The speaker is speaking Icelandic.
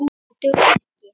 Það dugði ekki.